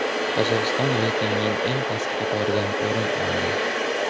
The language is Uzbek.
Qozog‘iston reytingning eng pastki qatoridan o‘rin oldi.